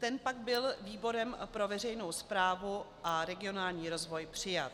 Ten pak byl výborem pro veřejnou správu a regionální rozvoj přijat.